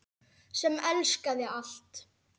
Sem elskaði allt.